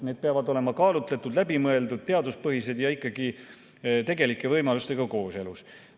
Need peavad olema kaalutletud, läbimõeldud, teaduspõhised ja tegelike võimalustega kooskõlas.